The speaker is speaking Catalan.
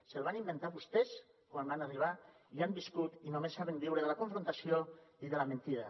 se’l van inventar vostès quan van arribar i han viscut i només saben viure de la confrontació i de la mentida